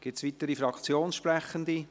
Gibt es weitere Fraktionssprechende?